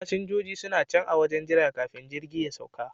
Fasinjojin suna can a wajen jira kafin jirgin ya sauka